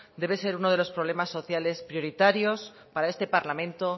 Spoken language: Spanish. debe ser uno de los problemas sociales prioritarios para este parlamento